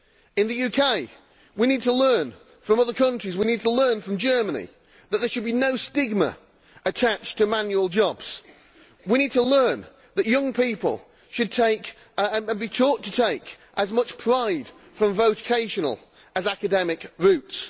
In the UK we need to learn from other countries we need to learn from Germany that there should be no stigma attached to manual jobs. We need to learn that young people should be taught to take as much pride from vocational as from academic routes.